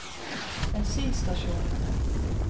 bensinstasjonene